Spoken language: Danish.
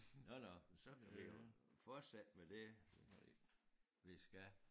Nåh nåh men så kan vi jo fortsætte med det vi skal